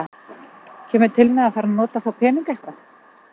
Kemur til með að fara að nota þá peninga eitthvað?